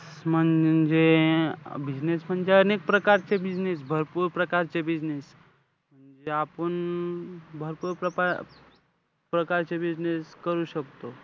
म्हणजे business म्हणजे, अनेक प्रकारचे business भरपूर प्रकारचे business जे अपुन भरपूर प्रपा~ प्रकारचे business करू शकतो.